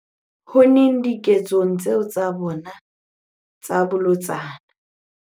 unneng diketsong tseo tsa bona tsa bolotsana.